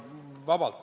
Vabalt!